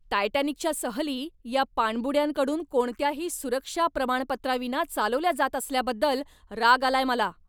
टायटॅनिकच्या सहली या पाणबुड्यांकडून कोणत्याही सुरक्षा प्रमाणपत्राविना चालवल्या जात असल्याबद्दल राग आलाय मला.